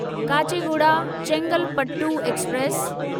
Kacheguda Chengalpattu express